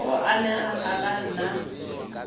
o amegang a ka nna